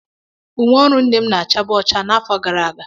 Uwe ọrụ nne m na-achabu ọcha n'afọ gara aga.